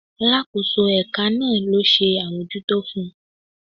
Alakoso eka naa lo se amojuto fun